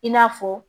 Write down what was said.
I n'a fɔ